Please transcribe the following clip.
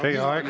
Teie aeg!